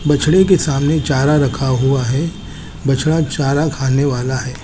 बछड़े के सामने चारा रखा हुआ है बछड़ा चारा खाने वाला है।